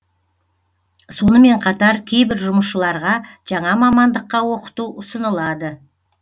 сонымен қатар кейбір жұмысшыларға жаңа мамандыққа оқыту ұсыналады